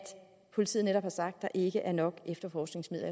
politiet netop siger at der ikke er nok efterforskningsmidler